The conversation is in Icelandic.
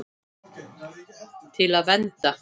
Til að vernda.